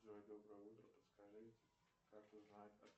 джой доброе утро подскажи как узнать